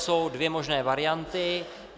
Jsou dvě možné varianty.